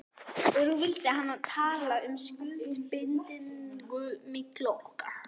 Og nú vildi hann tala um skuldbindingu milli okkar.